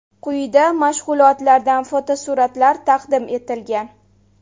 Quyida mashg‘ulotlardan fotosuratlar taqdim etilgan.